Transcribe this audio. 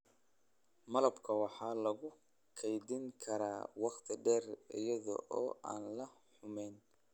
Malabka waxa lagu kaydin karaa wakhti dheer iyada oo aan la xumeyn.